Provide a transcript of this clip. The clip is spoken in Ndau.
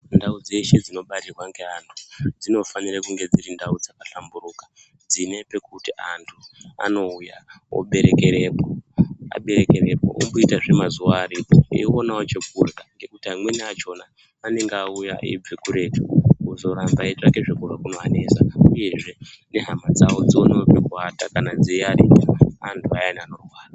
Ndau dzeshe dzinobarirwa ngeantu dzinofanire kunge dzirindau dzakahlamburuka. Dzine pekuti antu anouya oberekerepo, aberekerepo omboitazve mazuva aripo, eionewo chekurya. Ngekuti amweni achona anenge auya eibva kuretu, kuzoramba eitsvake zvekurya kunovanesa. Uyezve nehama dzavo dziwanewo pekuvata kana dzeiarika antu ayana anorwara.